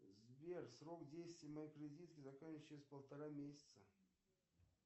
сбер срок действия моей кредитки заканчивается через полтора месяца